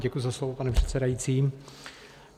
Děkuji za slovo, pane předsedající.